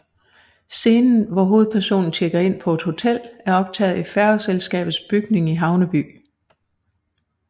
Scenen hvor hovedpersonen tjekker ind på et hotel er optaget i færgeselskabets bygning i Havneby